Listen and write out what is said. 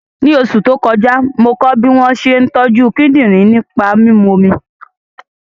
Ní oṣù tó kọjá, mo kọ́ bí wọ́n ṣe ń tọ́jú kíndìnrín nípa mímu omi